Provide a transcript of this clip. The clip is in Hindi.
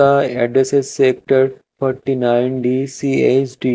a sector forty nine D C S D --